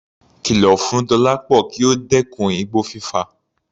Kìlọ̀ fún Dọlápọ kí ó dẹ́kun igbó fífà.